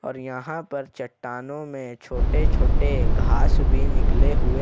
और यहां पर चट्टानों में छोटे छोटे घास भी निकले हुए--